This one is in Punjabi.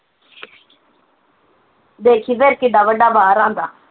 ਦੇਖੀ ਫੇਰ ਕਿੱਡਾ ਵੱਡਾ ਬਾਹਰ ਆਉਂਦਾ